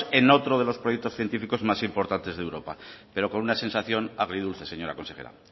en otro de los proyectos científicos más importantes de europa pero con una sensación agridulce señora consejera